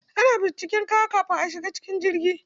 Ana bincika kaya kafin a shiga cikin jirgi.